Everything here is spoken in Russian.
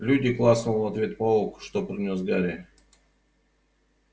люди клацнул в ответ паук что принёс гарри